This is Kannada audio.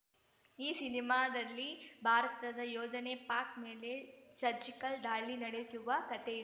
ಈ ಸಿನಿಮಾದಲ್ಲಿ ಭಾರತದ ಯೋಧನೆ ಪಾಕ್‌ ಮೇಲೆ ಸರ್ಜಿಕಲ್‌ ದಾಳಿ ನಡೆಸುವ ಕತೆಯಿ